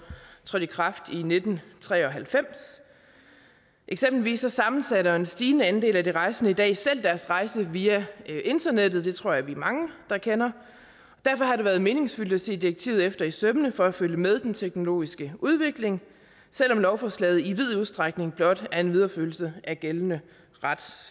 trådte i kraft i nitten tre og halvfems eksempelvis sammensætter en stigende andel af de rejsende i dag selv deres rejse via internettet det tror jeg vi er mange der kender og derfor har det været meningsfyldt at se direktivet efter i sømmene for at følge med den teknologiske udvikling selv om lovforslaget i vid udstrækning blot er en videreførelse af gældende ret